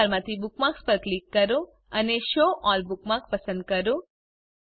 menu bar માંથી bookmarks પર click કરો અને શો અલ્લ બુકમાર્ક્સ પસંદ કરો